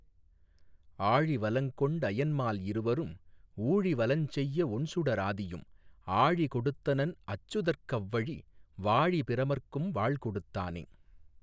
ஆழி வலங்கொண் டயன்மால் இருவரும் ஊழி வலஞ்செய்ய ஒண்சுடராதியும் ஆழி கொடுத்தனன் அச்சுதற்க்கவ்வழி வாழி பிரமற்கும் வாள்கொடுத்தானே.